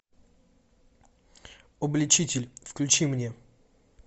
обличитель включи мне